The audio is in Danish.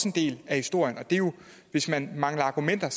en del af historien hvis man mangler argumenter